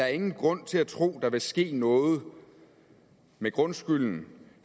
er ingen grund til at tro at der vil ske noget med grundskylden